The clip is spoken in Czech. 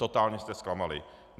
Totálně jste zklamali.